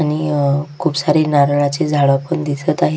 आणि अ खुप सारे नारळाचे झाड पण दिसत आहेत.